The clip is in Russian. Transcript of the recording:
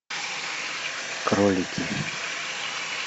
кролики